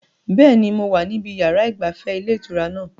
Bẹ́ẹ̀ni, mo wà níbi yàrá ìgbafẹ́ ilé ìtura náà